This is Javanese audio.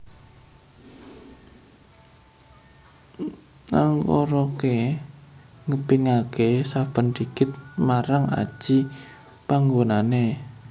Nangkaraké ngepingaké saben digit marang aji panggonané